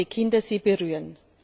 spielende Kinder sie berühren.